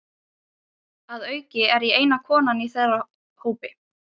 Að auki er ég eina konan í þeirra hópi.